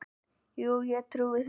Já, ég trúi því